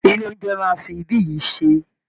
Ilé oúnjẹ ni a máa fi ibí yìí ṣe